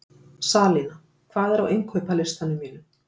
Salína, hvað er á innkaupalistanum mínum?